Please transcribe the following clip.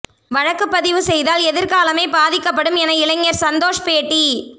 வழக்கு பதிவு செய்தால் எதிர்காலமே பாதிக்கப்படும் என இளைஞர் சந்தோஷ் பேட்டி